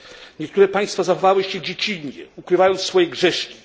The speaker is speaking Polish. Niektóre państwa zachowywały się dziecinnie, ukrywając swoje grzeszki.